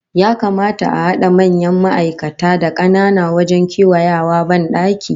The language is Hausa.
Ya kamata a hada manyan ma'aikata da kanana wajen kewayawa bandaki?